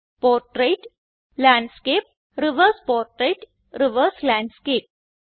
portrait landscape reverse portrait reverse landscape